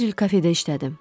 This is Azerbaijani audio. Bir il kafedə işlədim.